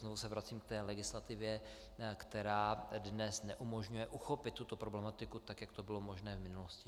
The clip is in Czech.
Znovu se vracím k té legislativě, která dnes neumožňuje uchopit tuto problematiku tak, jak to bylo možné v minulosti.